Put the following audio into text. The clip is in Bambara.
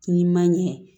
N'i ma ɲɛ